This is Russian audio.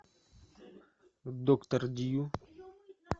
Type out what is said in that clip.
доктор дью